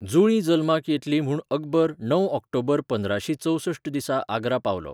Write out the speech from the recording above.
जुळीं जल्माक येतलीं म्हूण अकबर णव ऑक्टोबर पंदराशीं चौसष्ठ दिसा आग्रा पावलो.